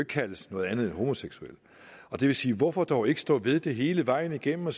kaldes noget andet end homoseksuelle det vil sige hvorfor dog ikke stå ved det hele vejen igennem